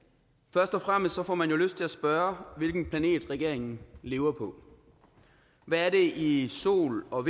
først og fremmest får man jo lyst til at spørge hvilken planet regeringen lever på hvad er det i sol og